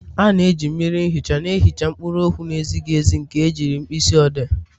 A na-eji mmiri ihicha na-ihicha mkpụrụ okwu na-ezighi ezi nke ejiri mkpịsị odee.